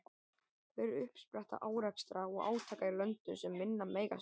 Hver er uppspretta árekstra og átaka í löndum sem minna mega sín?